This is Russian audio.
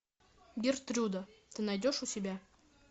гертруда ты найдешь у себя